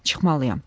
Çıxmalıyam.